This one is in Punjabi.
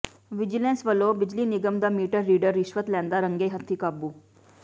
ਵਿਜੀਲੈਂਸ ਵੱਲੋਂ ਬਿਜਲੀ ਨਿਗਮ ਦਾ ਮੀਟਰ ਰੀਡਰ ਰਿਸ਼ਵਤ ਲੈਂਦਾ ਰੰਗੇ ਹੱਥੀਂ ਕਾਬੂ